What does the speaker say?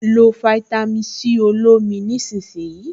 Lo fáítámì Sí olómi nísinsìnyí